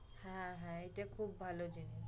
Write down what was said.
হ্যাঁ হ্যাঁ এটা খুব ভালো জিনিস